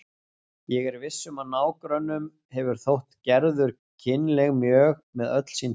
Ég er viss um að nágrönnunum hefur þótt Gerður kynleg mjög með öll sín tól.